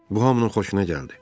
Bu hamının xoşuna gəldi.